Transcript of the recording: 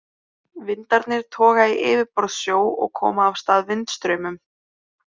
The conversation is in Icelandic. Vindarnir toga í yfirborðssjó og koma af stað vindstraumum.